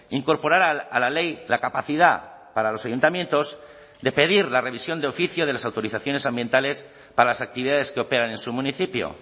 incorporar a la ley la capacidad para los ayuntamientos de pedir la revisión de oficio de las autorizaciones ambientales para las actividades que operan en su municipio